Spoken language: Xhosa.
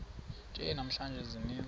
nje namhla ziintsizi